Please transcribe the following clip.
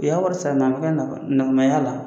U y'a wɔri sara nan ka nɔgɔ nɔgɔmaya la.